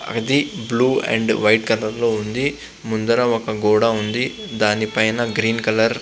ఇది blue and white colour లో ఉంది. ముందర ఒక గోడ ఉంది. దాని పైన గ్రీన్ కలర్ --